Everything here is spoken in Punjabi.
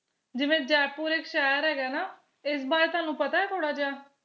ਜਿਵੇ ਜੈਪੁਰ ਇਕ ਸ਼ਹਿਰ ਹੈਗਾ ਨਾ ਇਸ ਬਾਰੇ ਤੁਹਾਨੂੰ ਪਤਾ ਥੋੜਾ ਜਿਹਾ